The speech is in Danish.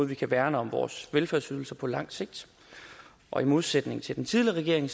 vi kan værne om vores velfærdsydelser på lang sigt og i modsætning til den tidligere regering